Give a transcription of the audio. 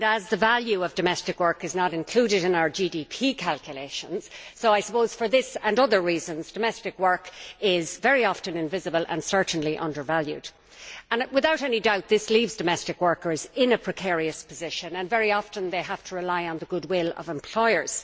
The value of domestic work is not included in our GDP calculations and, for that reason among others, domestic work is very often invisible and is certainly undervalued. Without any doubt, this leaves domestic workers in a precarious position, and very often they have to rely on the goodwill of employers.